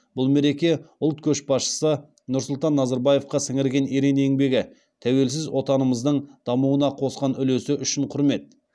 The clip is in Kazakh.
бұл мереке ұлт көшбасшысы нұрсұлтан назарбаевқа сіңірген ерен еңбегі тәуелсіз отанымыздың дамуына қосқан үлесі үшін құрмет